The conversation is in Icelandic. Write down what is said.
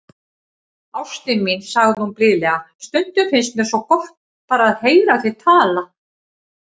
Ástin mín, sagði hún blíðlega,- stundum finnst mér svo gott, bara að heyra þig tala.